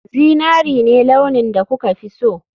Zinari ne launin da kuka fi so